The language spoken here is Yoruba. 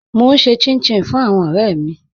Mo n ṣè chìn-chìn fún àwọn ọ̀rẹ̀ mi